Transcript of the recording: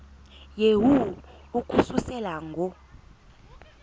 yehu ukususela ngo